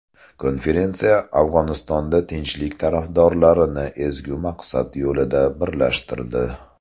Konferensiya Afg‘onistonda tinchlik tarafdorlarini ezgu maqsad yo‘lida birlashtirdi.